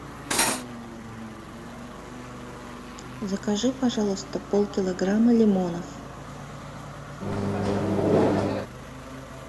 закажи пожалуйста пол килограмма лимонов